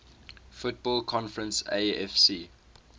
football conference afc